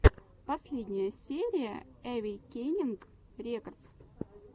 последняя серия эвейкенинг рекордс